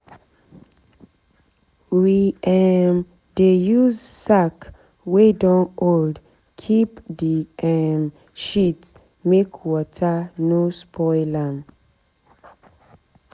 we um dey use sack wey don old keep the um shit make water no spoil am.